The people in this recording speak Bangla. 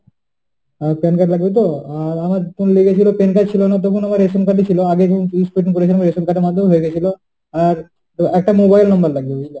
PAN card লাগবে তো আর আমার তোর লেগেছিল PAN card ছিলনা তখন আমার ration card ই ছিল। আগে যখন করেছিলাম ration card এর মধ্যেই হয়ে গিয়েছিল। আর, ও একটা mobile number লাগবে বুঝলি